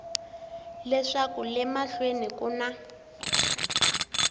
leswaku le mahlweni ku na